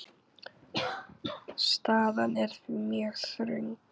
Staðan er því mjög þröng.